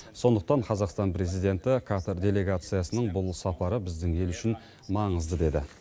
сондықтан қазақстан президенті катар делегациясының бұл сапары біздің ел үшін маңызды деді